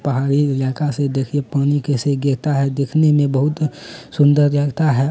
पहाड़ी इलाका से देखिए पानी कैसे गिरता है। देखने मे बहुत सुंदर लगता है।